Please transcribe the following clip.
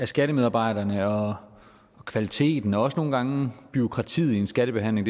skattemedarbejderne og kvaliteten og også nogle gange bureaukratiet i en skattebehandling